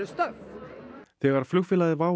stöff þegar flugfélagið WOW